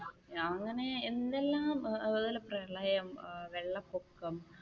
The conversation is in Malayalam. അങ്ങനെ എന്തെല്ലാം അതുപോലെ പ്രളയം, വെള്ളപൊക്കം